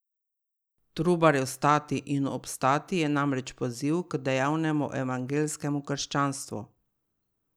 Trubarjev Stati inu obstati je namreč poziv k dejavnemu evangeljskemu krščanstvu.